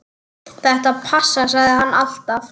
Þetta passar, sagði hann alltaf.